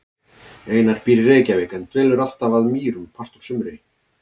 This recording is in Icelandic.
Einar býr í Reykjavík en dvelur alltaf að Mýrum part úr sumri.